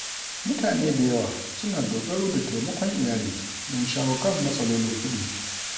Mutane da yawa suna dogaro da taimakon iyali don shawo kan matsalolin kuɗi.